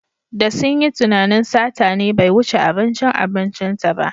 Da sun yi tunanin sata ne bai wuce abincin abincinta ba.